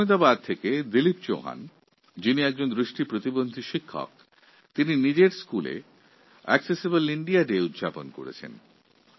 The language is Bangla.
আহ্মদাবাদ গুজরাতের দৃষ্টিহীন শিক্ষক দিলীপ চৌহান নিজের বিদ্যালয়ে অ্যাকসেসিবল ইন্দিয়া ডে পালন করেছেন